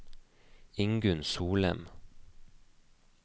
Ingunn Solem